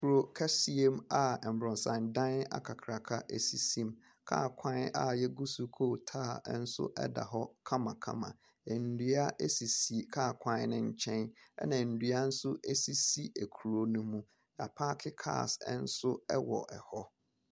Kuro kɛseɛm a aborosan dan akakraka sisi mu. Kaa kwan a wɔagu so kootaa nso da hɔ kamakama. Nnua sisi kaa kwan no nkyɛn, ɛnna nnua nso sisi kuro no mu. Wɔapake cars nso wɔ hɔ.